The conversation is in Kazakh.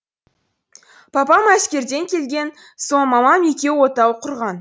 папам әскерден келген соң мамам екеуі отау құрған